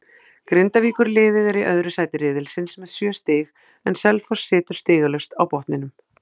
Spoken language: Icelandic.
Grindavíkurliðið er í öðru sæti riðilsins með sjö stig en Selfoss situr stigalaust á botninum.